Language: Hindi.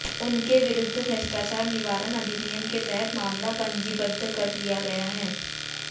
उनके विरुद्ध भ्रष्टाचार निवारण अधिनियम के तहत मामला पंजीबद्ध कर लिया गया है